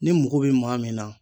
Ni mago bɛ maa min na